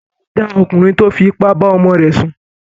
Bàbá mi dá ọkùnrin tí ó fi ipá bá ọmọ ọmọ rẹ̀ sùn